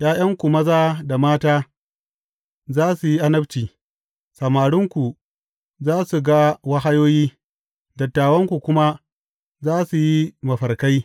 ’Ya’yanku maza da mata za su yi annabci, samarinku za su ga wahayoyi, dattawanku kuma za su yi mafarkai.